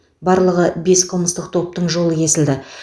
барлығы бес қылмыстық топтың жолы кесілді